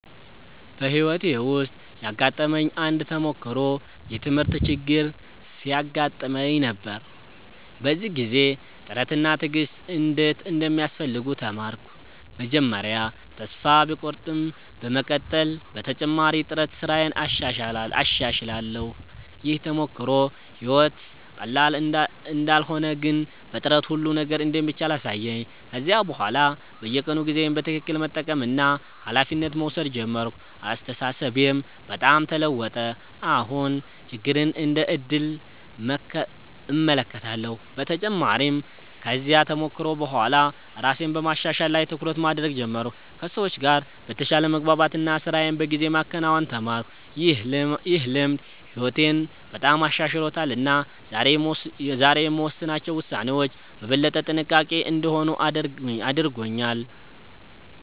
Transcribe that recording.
በሕይወቴ ውስጥ ያጋጠመኝ አንድ ተሞክሮ የትምህርት ችግር ሲያጋጥመኝ ነበር። በዚያ ጊዜ ጥረት እና ትዕግሥት እንዴት እንደሚያስፈልጉ ተማርኩ። መጀመሪያ ተስፋ ቢቆርጠኝም በመቀጠል በተጨማሪ ጥረት ስራዬን አሻሽላለሁ። ይህ ተሞክሮ ሕይወት ቀላል እንዳልሆነ ግን በጥረት ሁሉ ነገር እንደሚቻል አሳየኝ። ከዚያ በኋላ በየቀኑ ጊዜዬን በትክክል መጠቀምና ኃላፊነት መውሰድ ጀመርኩ። አስተሳሰቤም በጣም ተለወጠ፤ አሁን ችግርን እንደ ዕድል እመለከታለሁ። በተጨማሪም ከዚያ ተሞክሮ በኋላ ራሴን በማሻሻል ላይ ትኩረት ማድረግ ጀመርኩ፣ ከሰዎች ጋር በተሻለ መግባባት እና ስራዬን በጊዜ ማከናወን ተማርኩ። ይህ ልምድ ሕይወቴን በጣም አሻሽሎታል እና ዛሬ የምወስናቸው ውሳኔዎች በበለጠ ጥንቃቄ እንዲሆኑ አድርጎኛል።